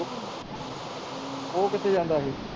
ਉਹ ਕਿਥੇ ਜਾਂਦਾ ਹੀ